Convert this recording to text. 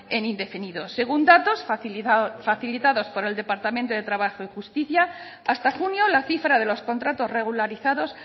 en indefinidos según datos facilitados por el departamento de trabajo y justicia hasta junio la cifra de los contratos regularizados